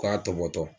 K'a tɔbɔtɔ